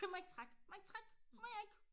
Må jeg ikke trække må jeg ikke trække må jeg ikke